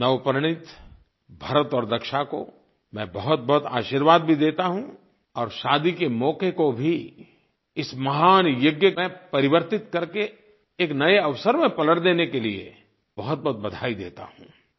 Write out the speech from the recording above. नवपरिणीत भरत और दक्षा को मैं बहुतबहुत आशीर्वाद भी देता हूँ और शादी के मौके को भी इस महान यज्ञ में परिवर्तित करके एक नये अवसर में पलट देने के लिए बहुतबहुत बधाई देता हूँ